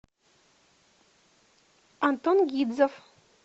антон гидзов